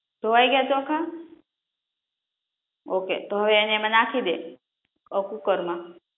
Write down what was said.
ધોવાઈ ગ્યા ચોખા ઓકે તો હવે એને એમા નાખી દે અ કુકરમાં